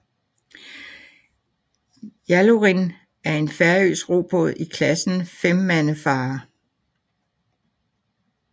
Jallurin er en færøsk robåd i klassen femmandefarer